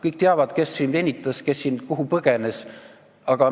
Kõik teavad, kes siin venitas, kes kuhu põgenes.